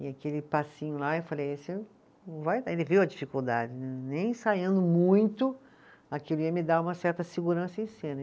E aquele passinho lá, eu falei vai, ele viu a dificuldade né, nem ensaiando muito, aquilo ia me dar uma certa segurança em cena.